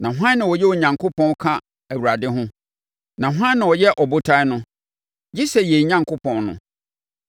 Na hwan na ɔyɛ Onyankopɔn ka Awurade ho? Na hwan na ɔyɛ Ɔbotan no, gye sɛ yɛn Onyankopɔn no.